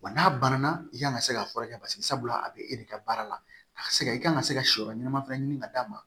Wa n'a banna i kan ka se ka furakɛ paseke sabula a bɛ e de ka baara la a ka se ka i ka kan ka se ka siyɔrɔ ɲɛnama fana ɲini ka d'a ma